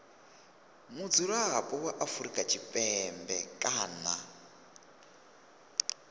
mudzulapo wa afrika tshipembe kana